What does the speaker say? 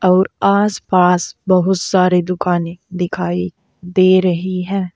और आस पास बहुत सारे दुकाने दिखाई दे रही है।